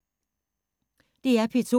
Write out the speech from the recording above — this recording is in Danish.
DR P2